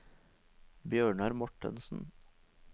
Bjørnar Mortensen